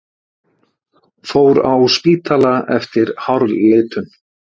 Fór á spítala eftir hárlitun